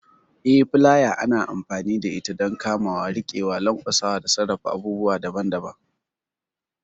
Eh, filaya ana amfani da ita don kamawa, riƙewa, lanƙwasa, da sarrafa abubuwa daban-daban.